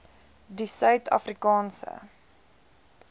die suid afrikaanse